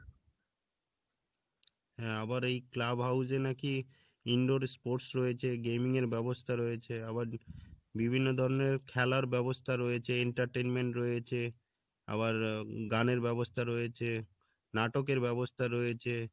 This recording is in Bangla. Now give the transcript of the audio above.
হ্যাঁ আবার এই club house এ নাকি indoor sports রয়েছে gaming এর ব্যবস্থা রয়েছে আবার বিভিন্ন ধরনের খেলার ব্যবস্থা রয়েছে entertainment রয়েছে আবার আহ উম গানের ব্যবস্থা রয়েছে নাটকের ব্যবস্থা রয়েছে